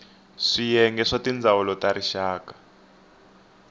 swiyenge swa tindzawulo ta rixaka